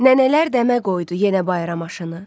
Nənələr dəmə qoydu yenə bayram aşını.